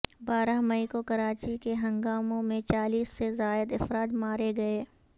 بارہ مئی کو کراچی کے ہنگاموں میں چالیس سے زائد افراد مارے گئے